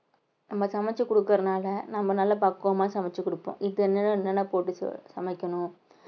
நம்ம சமெச்சு குடுக்கறதுனால நம்ம நல்லா பக்குவமா சமைச்சுக் கொடுப்போம் என்னலாம் போட்டு சமைக்கணும்